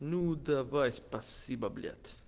ну давай спасибо блять